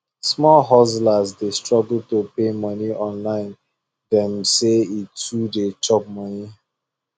small hustlers dey struggle to pay money online dem say e too dey chop money